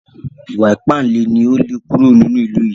Ìwà ìpánle ni ó lè kúrò nínú ìlú yìí